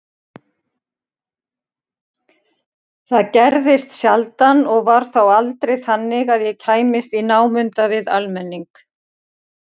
Það gerðist sjaldan og var þá aldrei þannig að ég kæmist í námunda við almenning.